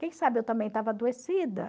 Quem sabe eu também estava adoecida.